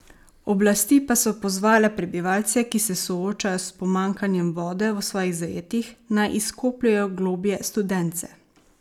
Oblasti pa so pozvale prebivalce, ki se soočajo s pomanjkanjem vode v svojih zajetjih, naj izkopljejo globlje studence.